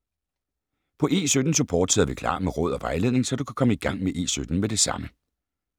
På E17-Support sidder vi klar med råd og vejledning, så du kan komme i gang med E17 med det samme.